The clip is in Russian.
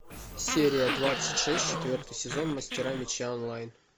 серия двадцать шесть четвертый сезон мастера меча онлайн